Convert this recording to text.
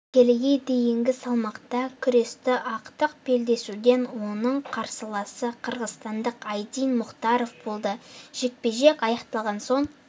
келіге дейінгі салмақта күресті ақтық белдесуде оның қарсыласы қырғызстандық айдин мұхтаров болды жекпе-жек аяқталған соң